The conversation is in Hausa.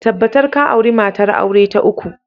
Tabbatar ka auri matar aure ta uku!